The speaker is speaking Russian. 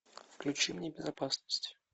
включи мне безопасность